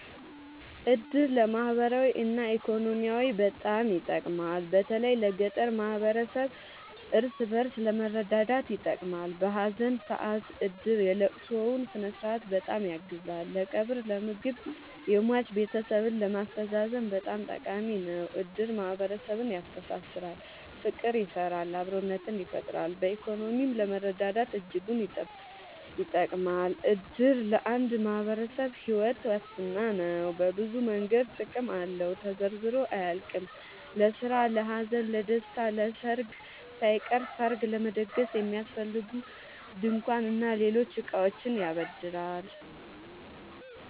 እድር ለማህበራዊ እና ኢኮኖሚያዊ በጣም ይጠቅማል። በተለይ ለገጠር ማህበረሰብ እርስ በእርስ ለመረዳዳት ይጠቅማል። በሀዘን ሰአት እድር የለቅሶውን ስነስርዓት በጣም ያግዛል ለቀብር ለምግብ የሟች ቤተሰብን ለማስተዛዘን በጣም ጠቃሚ ነው። እድር ማህረሰብን ያስተሳስራል። ፍቅር ይሰራል አብሮነትን ይፈጥራል። በኢኮኖሚም ለመረዳዳት እጅጉን ይጠብማል። እድር ለአንድ ማህበረሰብ ሒወት ዋስትና ነው። በብዙ መንገድ ጥቅም አለው ተዘርዝሮ አያልቅም። ለስራ ለሀዘን ለደሰታ። ለሰርግ ሳይቀር ሰርግ ለመደገስ የሚያስፈልጉ ድንኳን እና ሌሎች እቃዎችን ያበድራል